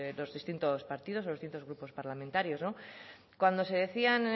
los distintos partidos o los distintos grupos parlamentarios